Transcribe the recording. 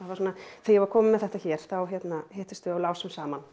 þegar ég var komin með þetta hér þá hittumst við og lásum saman